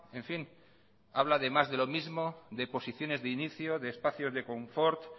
en fin habla de más de lo mismo de posiciones de inicio de espacio de confort